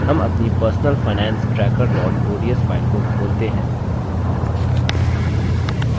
हम अपनी personal finance tracker ods file को खोलते हैं